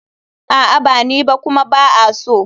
A'a ba ni ba kuma ba a so.